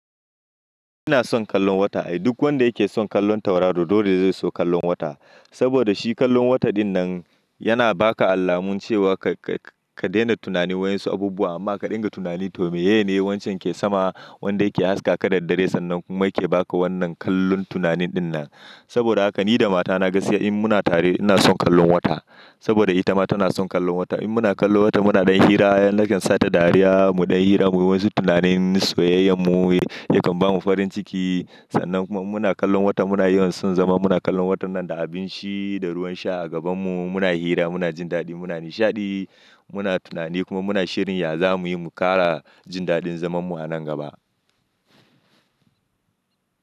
Ina son kallon wata. Ai duk wanda yake son kallon tauraro dole zai so kallon wata. Saboda shi kallon wata dinnan yana ba ka allamun cewa ka-ka-ka daina tunani wa'ƴansu abubuwa amma ka dinga tunani to me yake ne wancan ke sama wanda yake haska ka da dare sannan kuma yake ba ka wannan kallon tunanin dinnan. Saboda haka ni da matana gaskiya in muna tare ina son kallon wata. Saboda ita ma tana son kallon wata. In muna kallon wata muna ɗan hira, yana kyan sata dariya mu ɗan yi hira muyi wasu tunanin soyayyan mu, yakan bamu farin ciki sannan kuma in muna kallon wata muna yawan son zama muna kallon watan nan da abinci da ruwan sha a gaban mu muna hira muna jin dadi muna nishadi muna tunani kuma muna shirin ya za muyi mu kara jin dadin zaman mu a nan gaba.